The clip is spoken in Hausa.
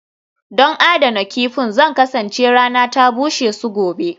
Don adana kifin, Zan kasance rana ta bushe su gobe